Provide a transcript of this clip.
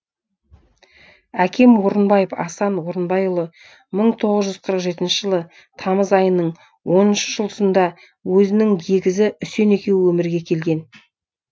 әкем орынбаев асан орынбайұлы мың тоғыз жүз қырық жетінші жылы тамыз айының оныншы жұлдызында өзінің егізі үсен екеуі өмірге келген